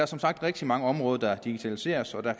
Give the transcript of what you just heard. som sagt rigtig mange områder der digitaliseres og der